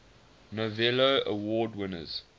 novello award winners